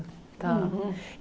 Tá.